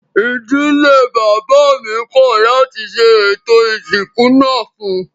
Ìdílé bàbá mi kọ̀ láti ṣe ètò ìsìnkú náà fún un